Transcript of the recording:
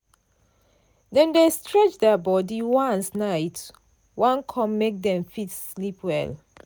dem dey stretch their body once night wan come make dem fit sleep well.